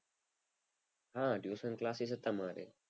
આ tuition classes તા મારે.